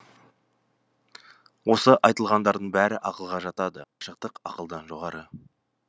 осы айтылғандардың бәрі ақылға жатады ал ғашықтық ақылдан жоғары